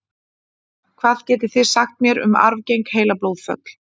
Hvað getið þið sagt mér um arfgeng heilablóðföll?